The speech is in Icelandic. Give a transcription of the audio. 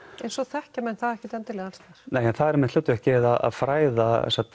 en svo þekkja menn það ekki endilega alls staðar nei en það er einmitt hlutverkið að fræða